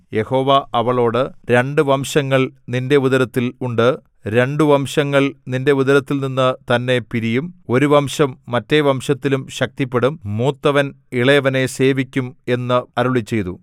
യഹോവ അവളോട് രണ്ടു വംശങ്ങൾ നിന്റെ ഉദരത്തിൽ ഉണ്ട് രണ്ടു വംശങ്ങൾ നിന്റെ ഉദരത്തിൽനിന്നു തന്നെ പിരിയും ഒരു വംശം മറ്റേ വംശത്തിലും ശക്തിപ്പെടും മൂത്തവൻ ഇളയവനെ സേവിക്കും എന്ന് അരുളിച്ചെയ്തു